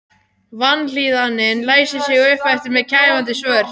Vanlíðanin læsir sig upp eftir mér kæfandi svört.